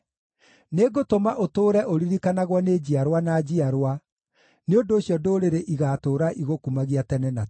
Nĩngũtũma ũtũũre ũririkanagwo nĩ njiarwa na njiarwa; nĩ ũndũ ũcio ndũrĩrĩ igaatũũra igũkumagia tene na tene.